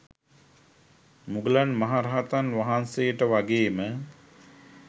මුගලන් මහ රහතන් වහන්සේට වගේම